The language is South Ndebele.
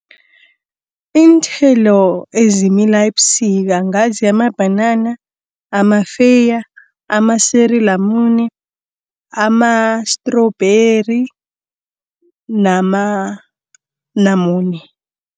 Iinthelo ezimila ebusika ngazi amabhanana, amafeya, amasiri lamune, amastrubheri nama namune.